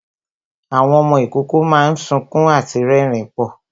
Àwọn ọmọ ìkókó máa ń sunkún àti rẹrin púpọ̀